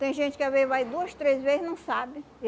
Tem gente que às vezes vai duas, três vez e não sabe.